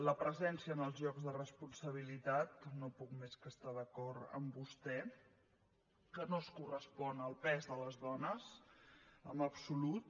la presència en els llocs de responsabilitat no puc més que estar d’acord amb vostè que no es correspon al pes de les dones en absolut